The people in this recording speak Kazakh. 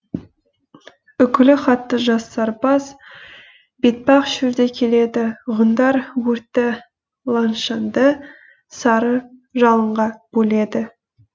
үкілі хатты жас сарбаз бетпақ шөлде келеді ғұндар өрті лаңшанды сары жалынға бөледі